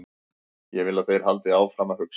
Ég vil að þeir haldi áfram að hugsa.